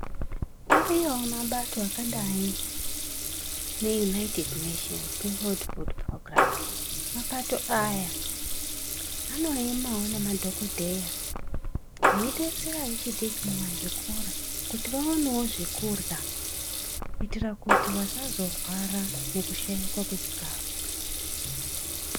Ariyowo mabato akadai neUnaitedhi Neshenzi neFudhu fot Purogiramu .Mabato aya anoemawo nemadhokodheya ,vaidesera vechidiki muzvikora kuti vaonewo zvekurya kuti vasazorwara ngekushaikwa kwechikafu.